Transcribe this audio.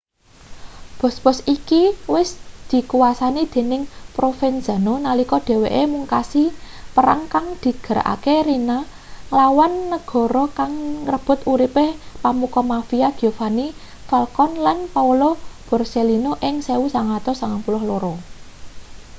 bos-bos iki wis dikuwasani dening provenzano nalika dheweke mungkasi perang kang digerakake riina nglawan negara kang ngrebut uripe pemuka mafia giovanni falcone lan paolo borsellino ing 1992